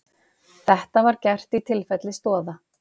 Þetta var gert í tilfelli Stoða